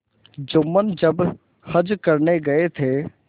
जुम्मन जब हज करने गये थे